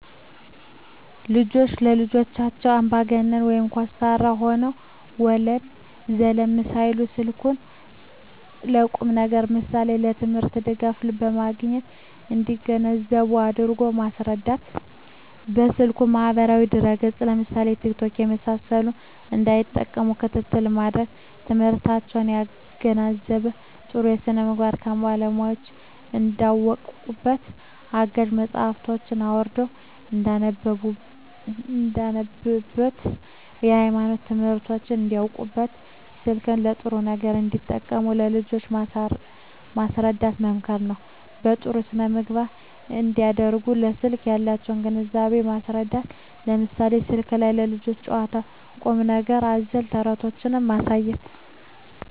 ወላጆች ለልጆቻቸው አምባገነን (ኮስታራ) ሆነው ወለም ዘለም ሳይሉ ስልኩን ለቁም ነገር ለምሳሌ ለትምህርት ድጋፍ ለማግኘት እንዲገነዘቡ አድርጎ ማስረዳት። በስልኩ ማህበራዊ ድረ ገፅ ለምሳሌ ቲክቶክ የመሳሰሉትን እንዳይጠቀሙ ክትትል ማድረግ። ትምህርታቸውን ያገናዘበ , ጥሩ ስነምግባር ከባለሙያወች እንዳውቁበት , አጋዥ መፅሀፎችን አውርደው እንዳነቡብት, የሀይማኖት ትምህርቶችን እንዳውቁበት , ስልክን ለጥሩ ነገር እንዲጠቀሙ ለልጆች ማስረዳት መምከር ነው። በጥሩ ስነ-ምግባር እንዲያድጉ ለስልክ ያላቸውን ግንዛቤ ማስረዳት ለምሳሌ ስልኩ ላይ የልጆች ጨዋታ ቁም ነገር አዘል ተረቶችን ማሳየት